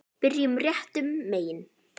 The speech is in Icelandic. Byrjum réttum megin.